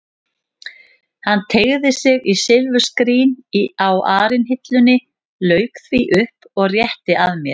Hann teygði sig í silfurskrín á arinhillunni, lauk því upp og rétti að mér.